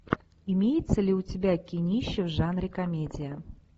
имеется ли у тебя кинище в жанре комедия